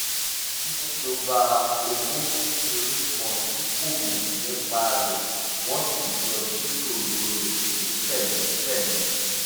ó mẹ́nu ba owó kékeré kan tí kò mọ̀ nípa rẹ̀ wọ́n sì jọ jíròrò rẹ̀ ní pẹ̀lẹ́pẹ̀lẹ́